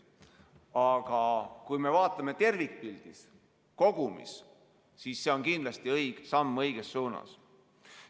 Aga kui me vaatame tervikpildis, kogumis, siis see on kindlasti õige samm õiges suunas.